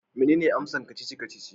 Menene amsar kacici-kacici?